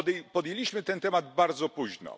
Podjęliśmy ten temat bardzo późno.